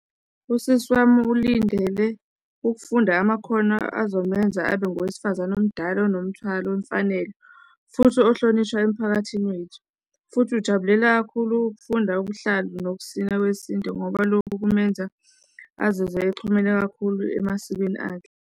Usisi wami ulindele ukufunda amakhono azomenza abe ngowesifazane omdala onomthwalo wemfanelo, futhi ohlonishwayo emphakathini wethu, futhi ujabulela kakhulu ukufunda ubuhlalu nokusina kwesintu ngoba lokhu kuzomenza azizwe exhumene kakhulu emasikweni akhe.